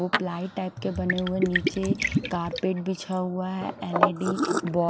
वो ply type के बने हुए है निचे कारपेट बिछा हुआ है एल_इ _डी बॉ--